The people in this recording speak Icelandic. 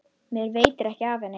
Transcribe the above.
Mér veitir ekki af henni.